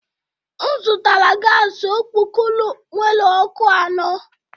M zụtara gas okpokoro nwere ọkụ anọ